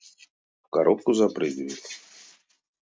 в коробку запрыгивает